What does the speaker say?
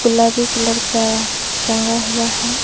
गुलाबी कलर का रंग हुआ है।